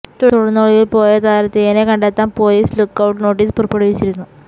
തുടര്ന്ന് ഒളിവില് പോയ താരത്തിനെ കണ്ടെത്താന് പോലീസ് ലുക്കൌട്ട് നോട്ടീസ് പുറപ്പെടുവിച്ചിരുന്നു